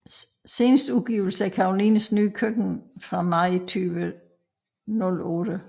Seneste udgivelse er Karolines Nye Køkken fra maj 2008